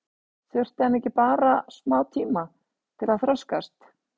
Þurfti hann ekki bara smá tíma til að þroskast?